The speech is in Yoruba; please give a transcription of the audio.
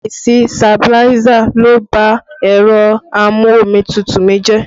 Àìsí sabiláísà ló bá ẹ̀rọ a-mú-omi-tútù mi jẹ́